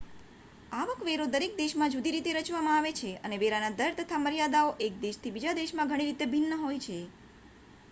આવક વેરો દરેક દેશમાં જુદી રીતે રચવામાં આવે છે અને વેરાના દર તથા મર્યાદાઓ એક દેશથી બીજા દેશમાં ઘણી રીતે ભિન્ન હોય છે